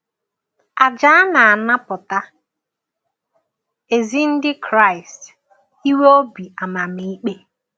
Àjà a na-anapụta ezi Ndị Kraịst inwe obi amamikpe.